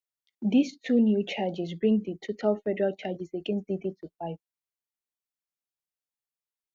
dis two new charges bring di total federal charges against diddy to five